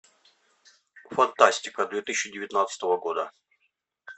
фантастика две тысячи девятнадцатого года